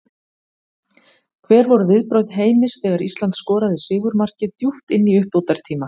Hver voru viðbrögð Heimis þegar Ísland skoraði sigurmarkið djúpt inn í uppbótartíma?